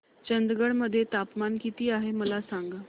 चंदगड मध्ये तापमान किती आहे मला सांगा